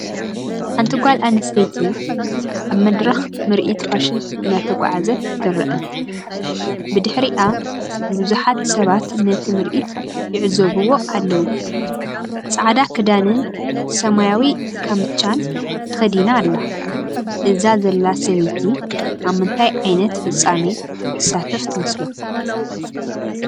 ሓንቲ ጓል ኣንስተይቲ ኣብ መድረኽ ምርኢት ፋሽን እናተጓዕዘት ትርአ። ብድሕሪኣ ብዙሓት ሰባት ነቲ ምርኢት ይዕዘብዎ ኣለዉ። ጻዕዳ ክዳንን ሰማያዊ ካምቻን ተኸዲና ኣላ። እዛ ዘላ ሰበይቲ ኣብ ምንታይ ዓይነት ፍጻመ ትሳተፍ ትመስለኩም?